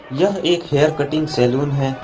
यह एक hair cutting salon है।